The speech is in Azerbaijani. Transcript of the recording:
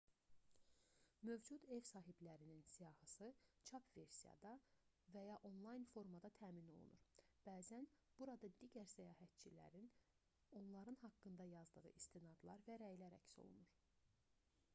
mövcud ev sahiblərinin siyahısı çap versiyada və ya onlayn formada təmin olunur bəzən burada digər səyahətçilərin onların haqqında yazdığı istinadlar və rəylər əks olunur